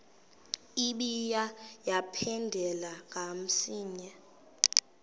ibuye yaphindela kamsinya